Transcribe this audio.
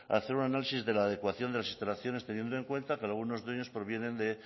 hacer un análisis de la adecuación de las instalaciones teniendo en cuenta que algunos dueños provienen de